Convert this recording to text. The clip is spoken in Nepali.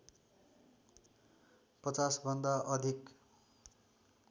५० भन्दा अधिक